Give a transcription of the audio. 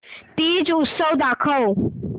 तीज उत्सव दाखव